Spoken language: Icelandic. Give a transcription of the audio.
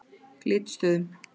Glitstöðum